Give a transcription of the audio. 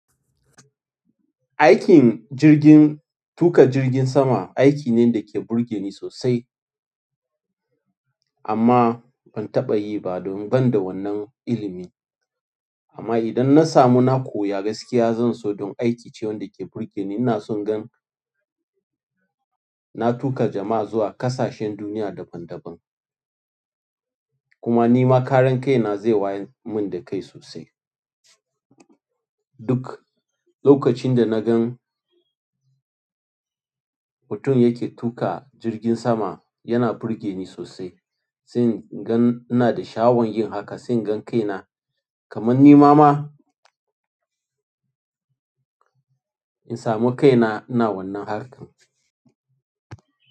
Aikin jirgin, tuƙa jirgin sama aiki ne da ke burge ni sosai. Amma ban taɓa yi ba domin ban da wannan ilimi. Amma idan na samu, na koya gaskiya, zan so don aiki ce wanda ke burge ni. Ina son gan na tuƙa jama'a zuwa ƙasashen duniya daban-daban. Kuma nima karan kaina ze wayarmin da kai sosai duk lokacin da na gan mutum yake tuƙa jirgin sama yana burge ni sosai. Sai in gan ina da sha'awan yin haka, sai in gan kaina kaman ni ma ma in samu kaina ina wannan harkar.